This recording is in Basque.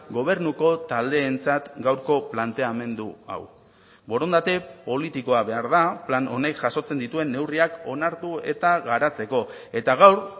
gobernuko taldeentzat gaurko planteamendu hau borondate politikoa behar da plan honek jasotzen dituen neurriak onartu eta garatzeko eta gaur